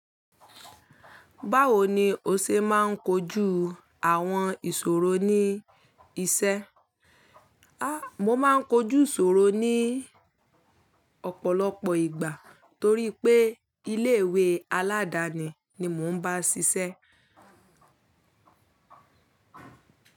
Báwo ni o ṣe máa ń kojú àwọn ìṣòro ní iṣẹ́? A! Mo máa ń kojú ìṣòro ní ọ̀pọ̀lọpọ̀ ìgbà torí pé ilé ìwé aládáni ni mò ń bá ṣiṣẹ́.